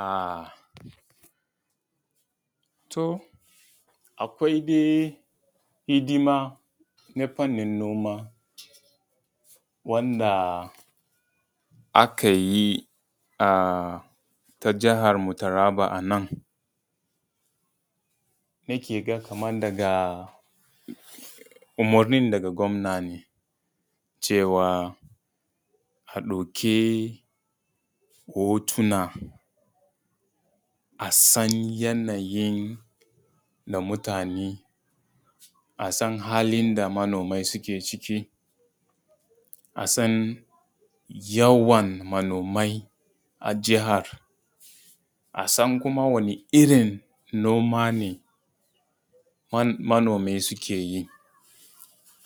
A to akwai dai hidima na faninin noma wanda aka yi a ta jahan mu Taraba a nan. Nake ga kamar umurnin daga gwamna ne, cewa a ɗauki hotuna a san yanayin na mutane, a san halin da manomai suke ciki, a san yawan manomai a jahar, a san kuma wani irin noma ne manomai suke yi,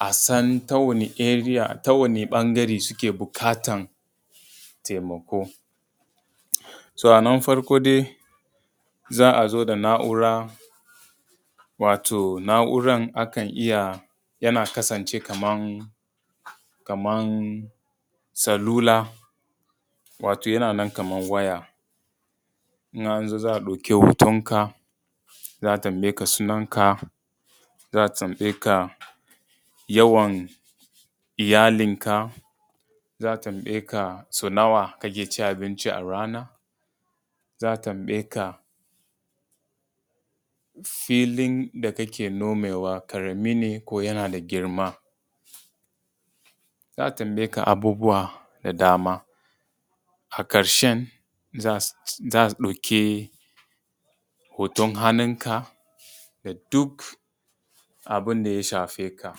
a san ta wani ɓangare suke buƙatan taimako. So a nan farko dai za a zo da na’ura wato na’ura a kan iya yana kasance kamar salula wato yana nan kamar waya. In an zo za a ɗauke hotonka, za a tambaye ka sunan ka za a tambaye ka yawan iyalinka, za a tambaye ka sau nawa kake cin abinci a ranan, za a tambaye ka filin da kake nomewa ƙarami ne ko yana da girma, za a tambaye ka abubuwa da dama a ƙarshen za a ɗauki hoton hannunka da duk abin da ya shafe ka.